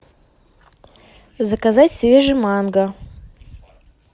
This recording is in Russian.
заказать свежий манго